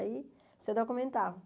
Aí você documentava.